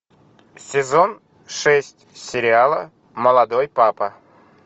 сезон шесть сериала молодой папа